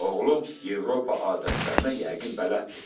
Oğlun Avropa adətlərinə yəqin bələddir.